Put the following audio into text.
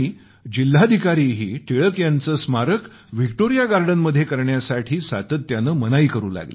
जिल्हाधिकारीही टिळक यांचं स्मारक व्हिक्टोरिया गार्डनमध्ये करण्यासाठी सातत्यानं मनाई करू लागले